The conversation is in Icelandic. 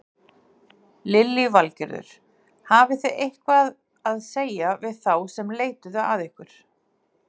Lillý Valgerður: Hafið þið eitthvað að segja við þá sem leituðu að ykkur?